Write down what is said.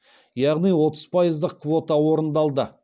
яғни отыз пайыздық квота орындалды